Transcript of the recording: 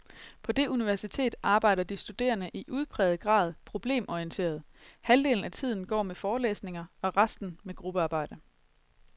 På det universitet arbejder de studerende i udpræget grad problemorienteret, halvdelen af tiden går med forelæsninger og resten med gruppearbejde.